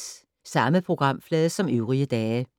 Samme programflade som øvrige dage